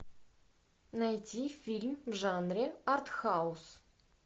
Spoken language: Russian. найти фильм в жанре арт хаус